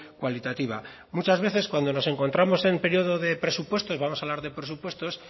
cualitativa muchas veces cuando nos encontramos en periodo de presupuestos vamos a hablar de presupuestos